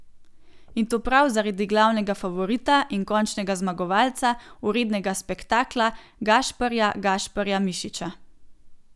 In to prav zaradi glavnega favorita in končnega zmagovalca, vrednega spektakla, Gašparja Gašparja Mišiča.